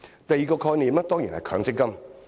第二個概念，當然是強積金。